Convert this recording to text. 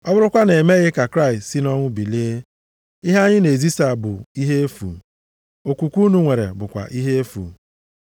Ọ bụrụkwa na e meghị ka Kraịst si nʼọnwụ bilie, ihe anyị na-ezisa bụ ihe efu, okwukwe unu nwere bụkwa ihe efu.